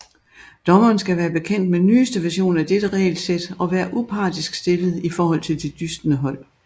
Dommeren skal være bekendt med nyeste version af dette regelsæt og være upartisk stillet i forhold til de dystende hold